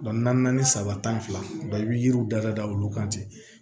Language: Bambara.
naani saba tan fila i bɛ yiriw da olu kan ten